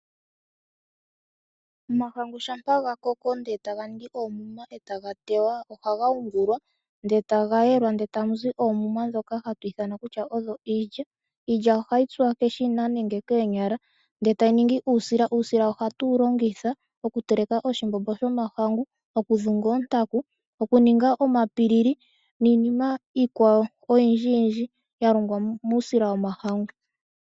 Omahangu shampa ga koko e taga ningi oomuma e taga teywa, ohaga yungulwa, ndele taga yelwa, ndele tamu zi oomuma ndhoka hatu ithana kutya odho iilya. Iilya ohayi tsuwa keshina nenge koonyala, ndele tayi ningi uusila. Uusila ohatu wu longitha okuteleka oshimbombo shOmahangu, okudhunga oontaku, okuninga omatete, niinima iikwawo oyindjiyindji ya longwa muusila wOmahangu.